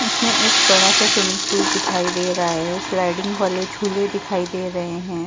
इसमें एक बड़ा सा स्विमिंग पूल दिखाई दे रहा है सिलाइडिंग वाले झूले दिखाई दे रहे हैं।